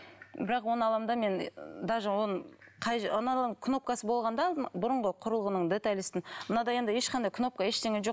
бірақ оны аламын да мен даже оны кнопкасы болған да бұрынғы құрылғының мынада енді ешқандай кнопка ештеңе жоқ